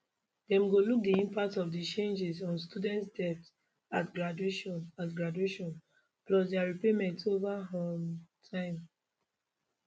dem go look di impact of di changes on students debt at graduation at graduation plus dia repayments over um time